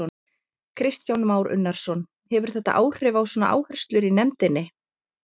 Kristján Már Unnarsson: Hefur þetta áhrif á svona áherslur í nefndinni?